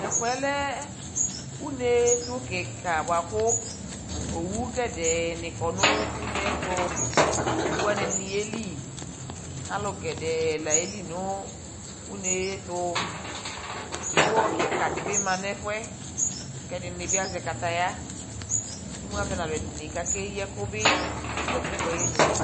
Tʊ ɛfʊyɛ lɛ unetʊ kɩka bwa kʊ owo gɛdɛɛ nɩ kɔ nʊ une yɛ tʊ Owo wani ɛdini yeli Alʊ gɛdɛ la yeli nʊ une yɛ tʊ Dzipohɔ kɩka dibi ma nʊ ɛfʊ yɛ Kʊ ɛdɩnɩ bi azɛ kataya Kʊ imʊ avɛ nʊ ɛdɩnɩ ka keyi ɛkʊ bɩ nʊ katikpo ayinu